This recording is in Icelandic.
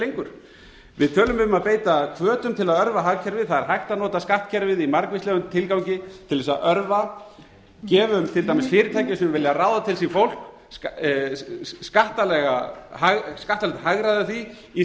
lengur við tölum um að beita hvötum til að örva hagkerfið það er hægt að nota skattkerfið í margvíslegum tilgangi til þess að örva gefum til dæmis fyrirtækjum á vilja ráða til sín fólk skattalegt hagræði af því í